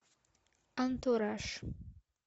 антураж